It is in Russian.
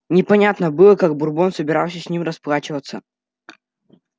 непонятно было как бурбон собирался с ним расплачиваться